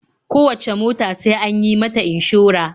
Kowacce mota sai an yi mata inshora.